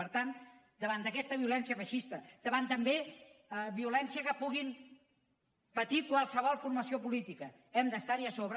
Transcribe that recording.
per tant davant d’aquesta violència feixista davant també violència que pugui patir qualsevol formació política hem d’estarhi a sobre